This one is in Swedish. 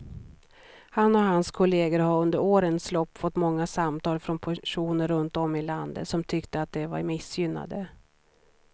Han och hans kolleger har under årens lopp fått många samtal från personer runt om i landet som tyckte att de var missgynnade.